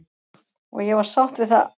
Og ég var sátt við það.